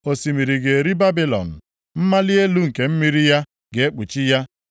Osimiri ga-eri Babilọn, mmali elu nke mmiri ya ga-ekpuchi ya.